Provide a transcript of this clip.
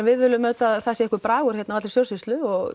við viljum auðvitað að það sé einhver bragur á allri stjórnsýslu